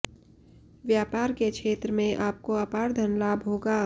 व्यापार के क्षेत्र में आपको अपार धन लाभ होगा